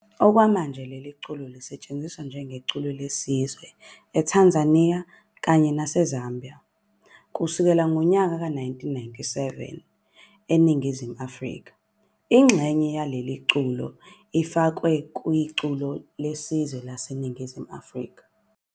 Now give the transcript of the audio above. Okwamkaje leli culo listshenziswa njengeculo leSizwe eTanzania kanye nase Zambia, kususkela ngonyaka wezi-1997 eNingizimu Afrika ingxenye yalo leli culo ifakwe kwiCulo leSizwe laseNingizimu Afrika.